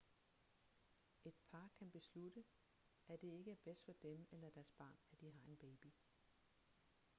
et par kan beslutte at det ikke er bedst for dem eller deres barn at de har en baby